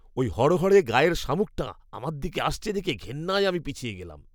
ওই হড়হড়ে গায়ের শামুকটা আমার দিকে আসছে দেখে ঘেন্নায় আমি পিছিয়ে গেলাম!